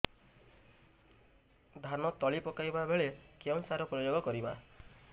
ଧାନ ତଳି ପକାଇବା ବେଳେ କେଉଁ ସାର ପ୍ରୟୋଗ କରିବା